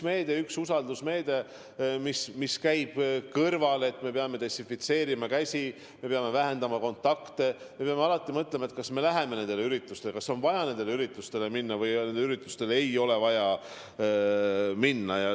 See on ka üks usaldusmeede, mis käib selle kõrvale, et me peame desinfitseerima käsi, me peame vähendama kontakte, me peame alati mõtlema, kas me läheme mõnele üritustele, kas on vaja kõigile üritustele minna või ei ole vaja minna.